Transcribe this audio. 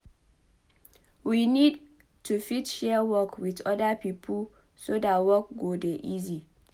we need to fit share work with oda pipo so that work go dey easy